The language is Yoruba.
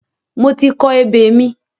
Mo ti kọ ebè mi.